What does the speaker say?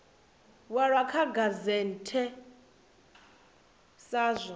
walwa kha gazette sa zwo